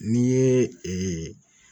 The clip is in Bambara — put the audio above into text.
N'i ye ee